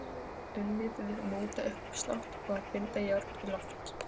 Unnið við mótauppslátt og að binda járn í loft.